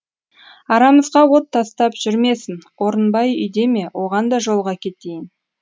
арамызға от тастап жүрмесін орынбай үйде ме оған да жолыға кетейін